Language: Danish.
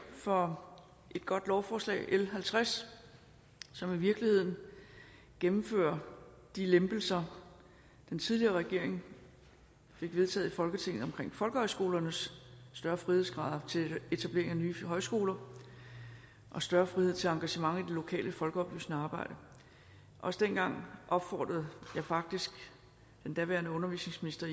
for et godt lovforslag l halvtreds som i virkeligheden gennemfører de lempelser den tidligere regering fik vedtaget i folketinget omkring folkehøjskolernes større frihedsgrader til etablering af nye højskoler og større frihed til engagement i det lokale folkeoplysende arbejde også dengang opfordrede jeg faktisk den daværende undervisningsminister